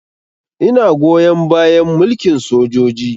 Ina goyon bayan mulkin sojoji